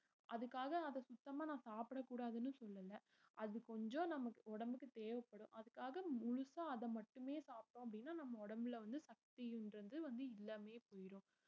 அதுக்காக அத சுத்தமா நான் சாப்பிடக் கூடாதுன்னு சொல்லலை அது கொஞ்சம் நமக்கு உடம்புக்கு தேவைப்படும் அதுக்காக முழுசா அத மட்டுமே சாப்பிட்டோம் அப்படின்ன நம்ம உடம்புல வந்து சக்தின்றது வந்து இல்லாமையே போயிரும்